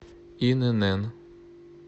инн